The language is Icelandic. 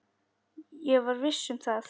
Ég var viss um það.